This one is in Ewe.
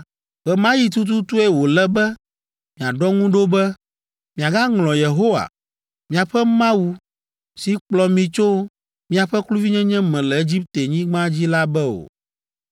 ɣe ma ɣi tututue wòle be miaɖɔ ŋu ɖo be miagaŋlɔ Yehowa, míaƒe Mawu, si kplɔ mi tso miaƒe kluvinyenye me le Egiptenyigba dzi la be o.